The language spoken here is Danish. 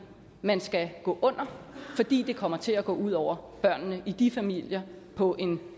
man skal gå under fordi det kommer til at gå ud over børnene i de familier på en